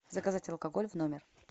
заказать алкоголь в номер